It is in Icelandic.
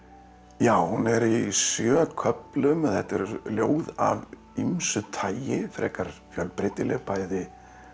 já hún er í sjö köflum þetta eru ljóð af ýmsu tagi frekar fjölbreytileg bæði